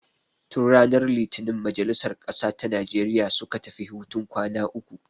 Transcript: Tun ranar litinin majalisar ƙasa ta Nijeriya suka tafi hutun kwana uku.